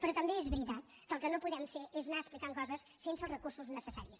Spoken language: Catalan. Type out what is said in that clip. però també és veritat que el que no podem fer és anar explicant coses sense els recursos necessaris